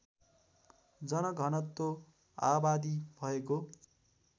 जनघनत्व आबादी भएको